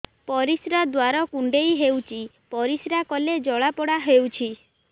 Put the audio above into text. ପରିଶ୍ରା ଦ୍ୱାର କୁଣ୍ଡେଇ ହେଉଚି ପରିଶ୍ରା କଲେ ଜଳାପୋଡା ହେଉଛି